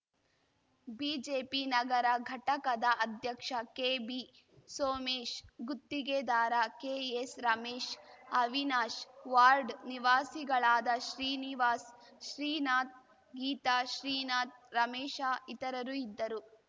BJP ನಗರ ಘಟಕದ ಅಧ್ಯಕ್ಷ ಕೆಬಿ ಸೋಮೇಶ್‌ ಗುತ್ತಿಗೆದಾರ ಕೆಎಸ್‌ ರಮೇಶ್‌ ಅವಿನಾಶ್‌ ವಾರ್ಡ್‌ ನಿವಾಸಿಗಳಾದ ಶ್ರೀನಿವಾಸ್‌ ಶ್ರೀನಾಥ್‌ ಗೀತಾ ಶ್ರೀನಾಥ್‌ ರಮೇಶ ಇತರರು ಇದ್ದರು